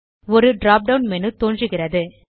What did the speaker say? ஒரு drop down menu தோன்றுகிறது